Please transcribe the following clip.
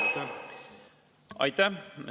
Aitäh!